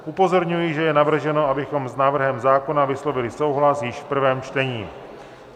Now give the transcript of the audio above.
Upozorňuji, že je navrženo, abychom s návrhem zákona vyslovili souhlas již v prvém čtení.